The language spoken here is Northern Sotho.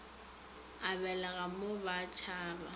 a belega mo ba tšhaba